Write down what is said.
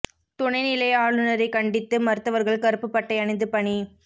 துணை நிலை ஆளுநரைக் கண்டித்து மருத்துவா்கள் கருப்புப் பட்டை அணிந்து பணி